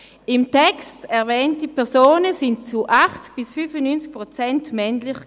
Im Text erwähnte Personen waren zu 80 bis 95 Prozent männlich.